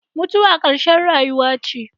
Mutuwa ƙarshen rayuwa ce.